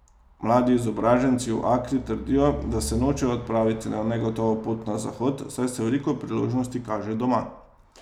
Mladi izobraženci v Akri trdijo, da se nočejo odpraviti na negotovo pot na Zahod, saj se veliko priložnosti kaže doma.